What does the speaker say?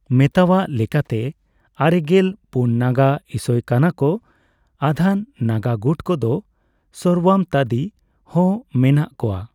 ᱢᱮᱛᱟᱣᱟᱜ ᱞᱮᱠᱟᱛᱮ ᱟᱨᱮᱜᱮᱞ ᱯᱩᱱ ᱱᱟᱜᱟ ᱤᱥᱚᱭ ᱠᱟᱱᱟ ᱠᱚ᱾ ᱟᱫᱷᱟᱱ ᱱᱟᱜᱟ ᱜᱩᱴ ᱠᱚ ᱫᱚ ᱥᱚᱨᱣᱟᱢᱛᱣᱟᱫᱤ ᱦᱚᱸ ᱢᱮᱱᱟᱜ ᱠᱚᱣᱟ᱿